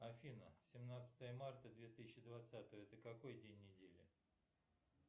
афина семнадцатое марта две тысячи двадцатого это какой день недели